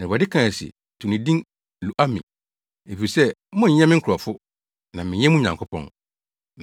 Na Awurade kae se, “To ne din Lo-ami, efisɛ monnyɛ me nkurɔfo na mennyɛ mo Nyankopɔn.